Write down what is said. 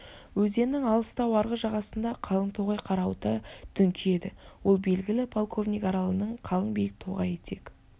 өзеннің алыстау арғы жағасында қалың тоғай қарауыта дүңкиеді ол белгілі полковник аралының қалың биік тоғайы тек